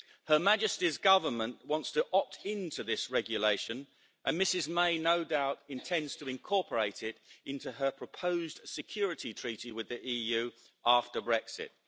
Her Majesty's Government wants to opt into this regulation and Mrs May no doubt intends to incorporate it into her proposed security treaty with the EU after Brexit.